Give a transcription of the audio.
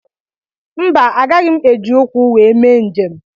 Mba agaghị m eji ụkwụ wee mee njem.